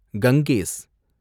Ganges